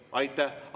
Aitäh!